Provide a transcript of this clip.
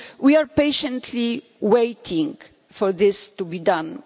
We are patiently waiting for this to be done.